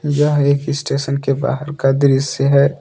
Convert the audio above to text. यह एक स्टेशन के बाहर का दृश्य है।